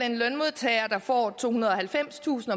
en lønmodtager der får tohundrede og halvfemstusind